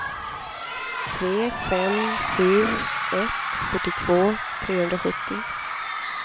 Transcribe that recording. tre fem sju ett fyrtiotvå trehundrasjuttio